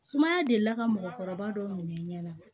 Sumaya deli la ka mɔgɔkɔrɔba dɔw minɛ i ɲɛ na